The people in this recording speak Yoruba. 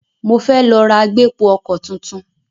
Mo fẹ́ lọ ra agbépo-ọkọ̀ tuntun.